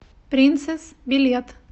принцесс билет